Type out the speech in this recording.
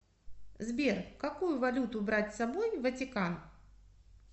сбер какую валюту брать с собой в ватикан